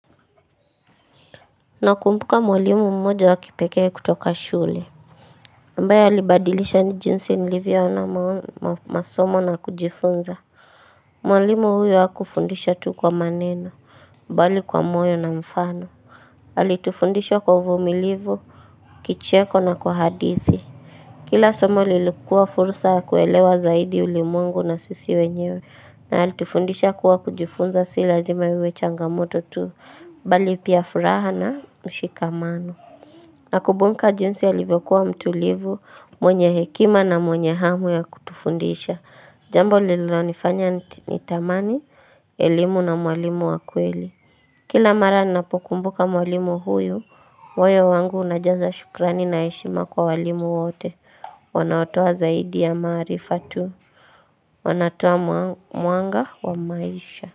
Na kumbuka mwalimu mmoja wa kipekee kutoka shule ambaye alibadilisha ni jinsi nilivyo ona masomo na kujifunza Mwalimu huyu haku fundisha tu kwa maneno mbali kwa moyo na mfano alitufundisha kwa uvumilivu kicheko na kwa hadithi Kila somo lilikuwa fursa ya kuelewa zaidi ulimwengu na sisi wenyewe na alitufundisha kuwa kujifunza si lazima iwe changamoto tu bali pia furaha na mshikamano na kubunka jinsi alivyokuwa mtulivu, mwenye hekima na mwenye hamu ya kutufundisha Jambo lilo nifanya ni tamani, elimu na mwalimu wakweli Kila mara ni napokumbuka mwalimu huyu, moyo wangu unajaza shukrani na heshima kwa walimu wote Wanaotoa zaidi ya maarifa tu wanatoa mwanga wa maisha.